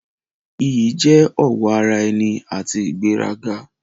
Iyì jẹ́ ọ̀wọ̀ ara ẹni àti ìgbéraga.